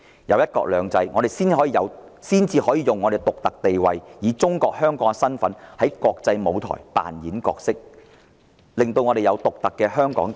有了"一國兩制"，我們才能利用香港的獨特地位，以中國香港的身份在國際舞台上扮演獨特的角色。